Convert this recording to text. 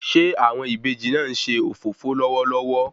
Ṣe awọn ìbejì náà nṣe òfófó lọwọlọwọ?